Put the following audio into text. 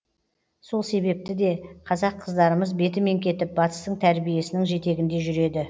сол себепті де қазақ қыздарымыз бетімен кетіп батыстың тәрбиесінің жетегінде жүреді